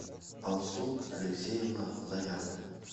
алсу алексеевна заярная